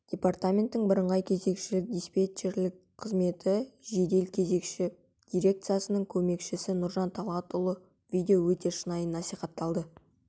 департаменттің бірыңғай кезекшілік-диспетчерлік қызметі жедел кезекші дирекциясының көмекшісі нұржан талғатұлы видео өте шынайы насихатталды